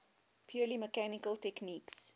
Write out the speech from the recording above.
purely mechanical techniques